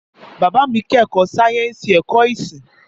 Bàbá mi kẹ́kọ̀ọ́ sáyẹ́ǹsì ẹ̀kọ́ ìsìn.